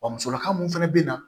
Wa musolaka mun fɛnɛ bɛ na